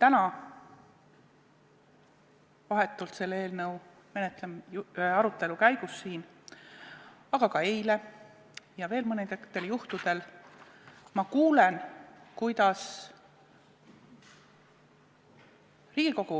Täna, vahetult selle eelnõu arutelu käigus siin, aga ka eile ja veel mõningatel juhtudel ma olen kuulnud, kuidas Riigikogu